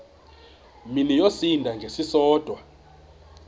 mini yosinda ngesisodwa